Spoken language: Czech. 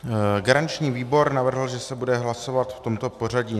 Garanční výbor navrhl, že se bude hlasovat v tomto pořadí.